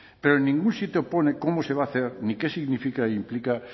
pero en ningún sitio pone cómo se va a hacer ni qué significa e implica